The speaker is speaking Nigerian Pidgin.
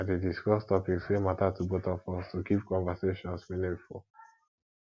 i dey discuss topics wey matter to both of us to keep conversations meaningful